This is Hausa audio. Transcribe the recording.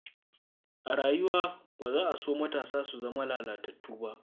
A rayuwa, ba za a so matasa su zama lalatattu ba.